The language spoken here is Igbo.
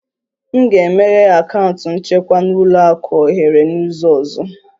M ga-emeghe akaụntụ nchekwa na ụlọ akụ ohere n'izu ọzọ